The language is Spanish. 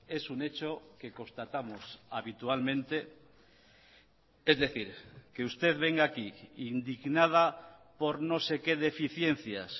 es un hecho que constatamos habitualmente es decir que usted venga aquí indignada por no sé qué deficiencias